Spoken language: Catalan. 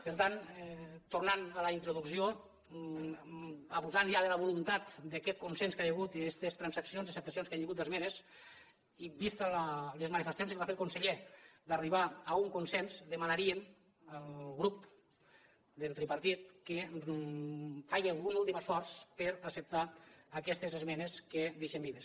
per tant tornat a la introducció abusant ja de la voluntat d’aquest consens que hi ha hagut d’aquestes transaccions acceptacions que hi ha hagut d’esmenes i vistes les manifestacions que va fer el conseller d’arribar a un consens demanaríem al grup del tripartit que faci un últim esforç per acceptar aquestes esmenes que deixem vives